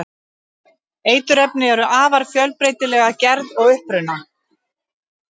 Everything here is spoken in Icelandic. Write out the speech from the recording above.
eiturefni eru afar fjölbreytileg að gerð og uppruna